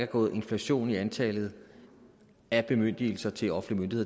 gået inflation i antallet af bemyndigelser til offentlige